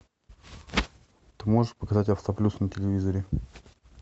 ты можешь показать авто плюс на телевизоре